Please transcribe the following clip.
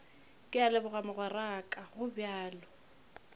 ke a leboga mogweraka gobjalo